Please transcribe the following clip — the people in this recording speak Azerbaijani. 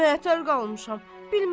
Lap məətər qalmışam.